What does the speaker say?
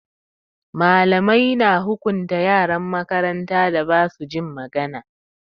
Malamai na hukunta yaran makarantan da ba su jin magana.